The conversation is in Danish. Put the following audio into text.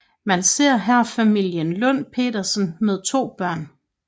Man ser her familien Lund Petersen med to børn